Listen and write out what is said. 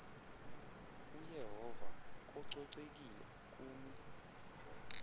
uyehova kococekile kumi